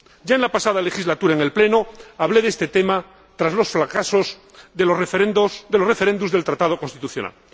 Ya en la pasada legislatura, en el Pleno, hablé de este tema tras los fracasos de los referendos del Tratado Constitucional.